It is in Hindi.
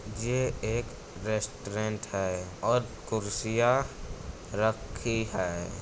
जे एक रेस्टोरेंट है और कुर्सियाँ रखीं हैं।